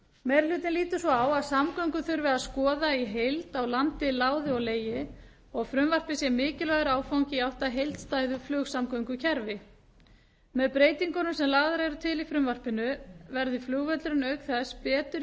meiri hlutinn lítur svo á að samgöngur þurfi að skoða í heild á landi láði og legi og að frumvarpið sé mikilvægur áfangi í átt að heildstæðu flugsamgöngukerfi með breytingunum sem lagðar eru til í frumvarpinu verði flugvöllurinn auk þess betur